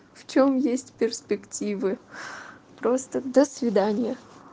в чём есть перспективы просто до свидания